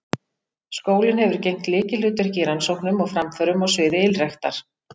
Skólinn hefur gegnt lykilhlutverki í rannsóknum og framförum á sviði ylræktar.